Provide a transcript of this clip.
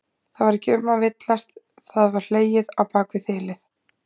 Það var ekki um að villast, það var hlegið á bak við þilið!